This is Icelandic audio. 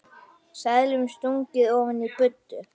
Seðlum stungið ofan í buddu.